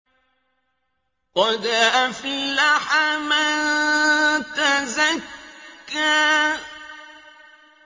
قَدْ أَفْلَحَ مَن تَزَكَّىٰ